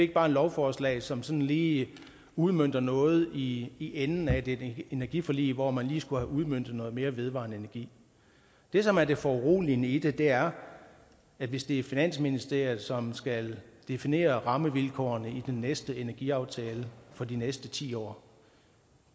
ikke bare et lovforslag som sådan lige udmønter noget i i enden af det energiforlig hvor man lige skulle have udmøntet noget mere vedvarende energi det som er det foruroligende i det er at hvis det er finansministeriet som skal definere rammevilkårene i den næste energiaftale for de næste ti år